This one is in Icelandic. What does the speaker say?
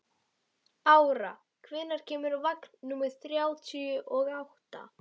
Ára, hvenær kemur vagn númer þrjátíu og átta?